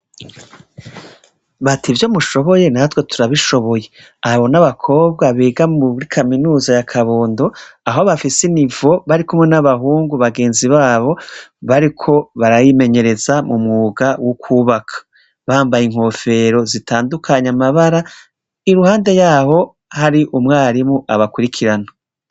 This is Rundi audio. Bati ivyo mushoboye natwe turabishoboye. Abo n'abakobwa biga muri kaminuza ya kabondo aho bafise inivo barikumwe n'abahungu bagenzi babo bariko barimenyereza m'umwuga wo kwubaka bambaye inkofero zitandukanye amabara iruhande yaho hari umwarimu abakurikirana.